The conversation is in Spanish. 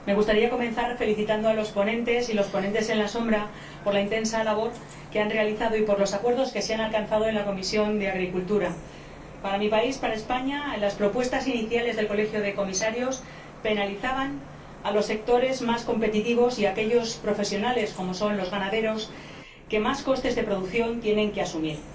Señor Presidente, señor Comisario, Señorías, me gustaría comenzar felicitando a los ponentes y a los ponentes alternativos por la intensa labor que han realizado y por los acuerdos que se han alcanzado en la Comisión de Agricultura. Para mi país, España, las propuestas iniciales del Colegio de Comisarios penalizaban a los sectores más competitivos y a aquellos profesionales, como son los ganaderos, que más costes de producción tienen que asumir.